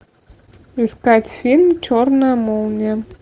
искать фильм черная молния